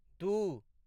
दू